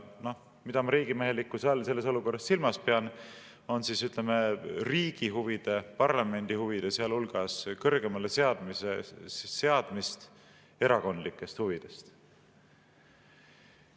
Ja riigimehelikkuse all ma pean selles olukorras silmas, ütleme, riigi huvide, sealhulgas parlamendi huvide kõrgemale seadmist erakondlikest huvidest.